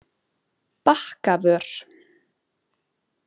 Bakkavör